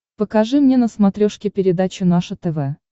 покажи мне на смотрешке передачу наше тв